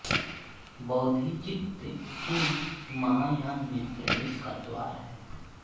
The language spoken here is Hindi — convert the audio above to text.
बोधिचित्त ही महायान में प्रवेश का द्वार है